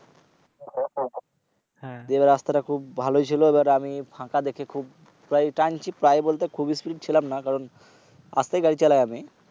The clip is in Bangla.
এইবার রাস্তাটা খুব ভালোই ছিল। আমি ফাঁকা দেখে প্রায় টানছি প্রায় বলতে খুব Spreed ছিলামনা। কারণ আস্তেই গাড়ি চালাই আমি।